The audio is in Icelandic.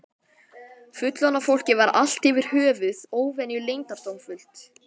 Fullorðna fólkið var allt yfir höfuð óvenju leyndardómsfullt.